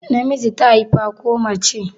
Namiji ta haifa ko mace?